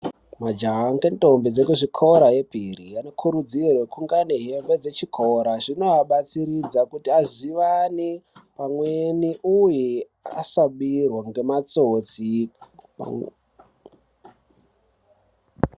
Majaha ngendombi dzekuzvikora yepiri anokurudzirwe kungeane hembe dzechikora, zvinoabatsiridza kuti azivane pamweni, uye asabirwa ngematsotsi.